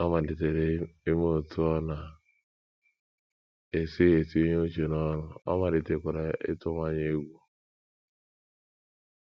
Ọ malitere imetụta otú ọ na -- esi etinye uche n’ọrụ, ọ malitekwara ịtụwanye egwu.